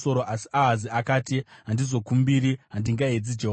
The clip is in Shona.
Asi Ahazi akati, “Handizokumbiri; handingaedzi Jehovha.”